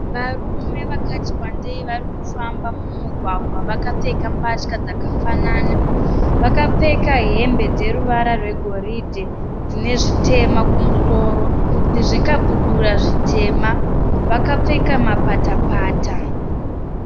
Varume vakati wandeyi vari kufamba mumugwagwa vakapfeka mbatya dzakafanana. Vakapfeka hembe dzeruvara rwegoridhe dzine zvitema kumusoro nezvikabudura zvitema. Vakapfeka mapatapata.